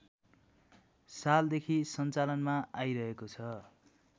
सालदेखि सञ्चालनमा आइरहेको छ